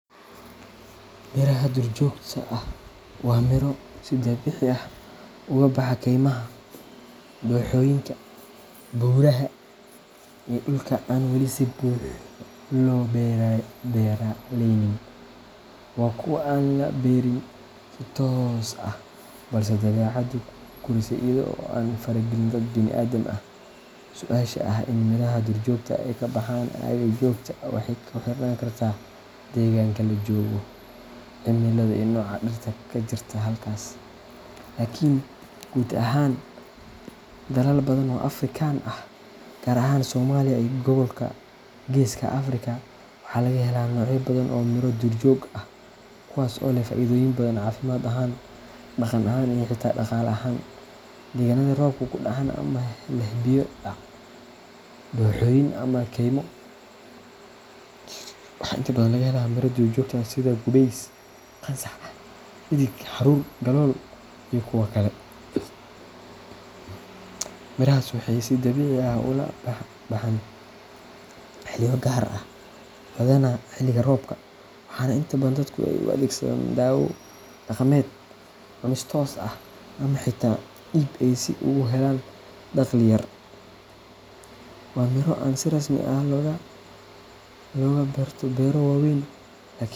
Miraha duurjoogta ah waa miro si dabiici ah ugu baxa keymaha, dooxooyinka, buuraha iyo dhulka aan weli si buuxda loo beeraleynin. Waa kuwo aan la beerin si toos ah balse ay dabeecaddu u korisay iyada oo aan faragelin dad bini’aadam ah. Su’aasha ah in miraha duurjoogta ah ay ka baxaan aagga aad joogto waxay ku xirnaan kartaa deegaanka la joogo, cimilada, iyo nooca dhirta ka jirta halkaas. Laakiin guud ahaan, dalal badan oo Afrikaan ah gaar ahaan Soomaaliya iyo gobolka Geeska Afrika waxa laga helaa noocyo badan oo ah miro duurjoog ah kuwaas oo leh faa’iidooyin badan caafimaad ahaan, dhaqan ahaan, iyo xitaa dhaqaale ahaan. Deegaanada roobabku ka dhacaan ama leh biyo-dhac, dooxooyin, ama keymo, waxaa inta badan laga helaa miraha duurjoogta ah sida gubays, qansax, dheddig, haruur, galool, iyo kuwo kale. Mirahaasi waxay si dabiici ah u baxaan xilliyo gaar ah, badanaa xilliga roobka, waxaana inta badan dadku ay u adeegsadaan daawo dhaqameed, cunis toos ah, ama xitaa iib ah si ay ugu helaan dakhli yar. Waa miro aan si rasmi ah looga beerto beero waaweyn.